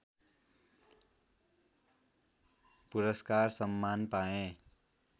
पुरस्कार सम्मान पाए